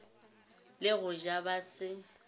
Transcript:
le go ja ba se